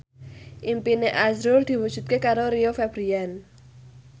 impine azrul diwujudke karo Rio Febrian